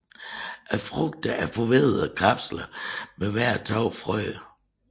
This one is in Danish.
Frugterne er forveddede kapsler med hver to frø